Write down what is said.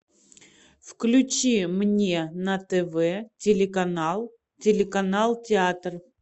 включи мне на тв телеканал телеканал театр